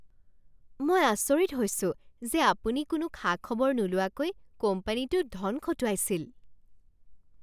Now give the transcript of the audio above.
মই আচৰিত হৈছোঁ যে আপুনি কোনো খা খবৰ নোলোৱাকৈ কোম্পানীটোত ধন খটুৱাইছিল।